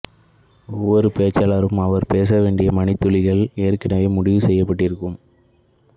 ஒவ்வொரு பேச்சாளருக்கும் அவர் பேச வேண்டிய மணித்துளிகள் ஏற்கனெவே முடிவு செய்யப்பட்டிருக்கும்